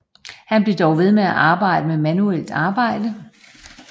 Han blev dog ved med at arbejde med manuelt arbejde